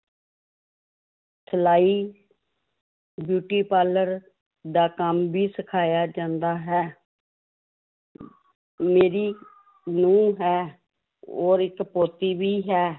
ਸਲਾਈ beauty parlour ਦਾ ਕੰਮ ਵੀ ਸਿਖਾਇਆ ਜਾਂਦਾ ਹੈ ਮੇਰੀ ਨੂੰਹ ਹੈ ਔਰ ਇੱਕ ਪੋਤੀ ਵੀ ਹੈ